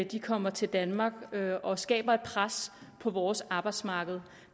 de kommer til danmark og skaber et pres på vores arbejdsmarked